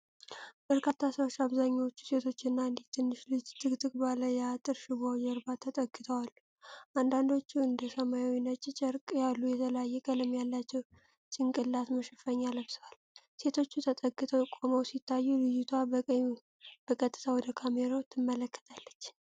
በርካታ ሰዎች፣ አብዛኛዎቹ ሴቶችና አንዲት ትንሽ ልጅ፣ ጥቅጥቅ ባለ የአጥር ሽቦ ጀርባ ተጠግተው አሉ። አንዳንዶቹ እንደ ሰማያዊና ነጭ ጨርቅ ያሉ የተለያየ ቀለም ያላቸው ጭንቅላት መሸፈኛ ለብሰዋል። ሴቶቹ ተጠግተው ቆመው ሲታዩ፣ ልጅቷ በቀጥታ ወደ ካሜራው ትመለከታለች።